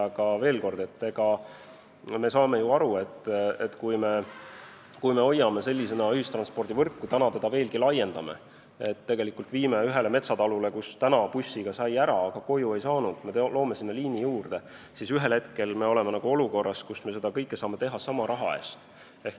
Aga veel kord: me saame ju aru, et kui me hoiame ühistranspordivõrku sellisena, nagu see on, ja seda veelgi laiendame, pannes ühe metsataluni, kust praegu sai bussiga ära, aga koju tagasi ei saanud, uue liini juurde, siis ühel hetkel me oleme olukorras, kus me saame seda kõike teha sama raha eest.